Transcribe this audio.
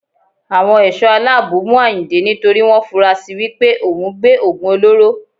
Àwọn Ẹ̀ṣọ́ aláàbò mú Àyìndé nítorí wọn fura si wípé òun gbé Ògùn olóró.